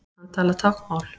Hann talar táknmál.